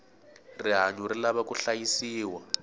rihanyu ri lava ku hlayisiwa